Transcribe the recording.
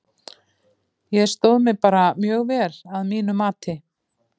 Ég stóð mig bara mjög vel að mínu mati.